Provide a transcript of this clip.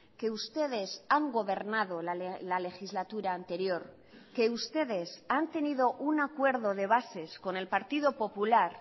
que ustedes han gobernado la legislatura anterior que ustedes han tenido un acuerdo de bases con el partido popular